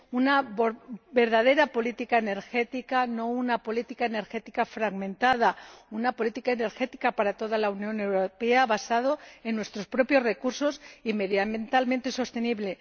una verdadera política energética ―no una política energética fragmentada―, una política energética para toda la Unión Europea basada en nuestros propios recursos y medioambientalmente sostenible